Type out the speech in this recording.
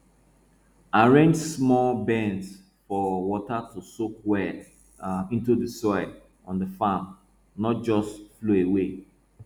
arrange small bends for water to soak well um into soil on the farm not just flow away